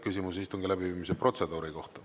Küsimus istungi läbiviimise protseduuri kohta.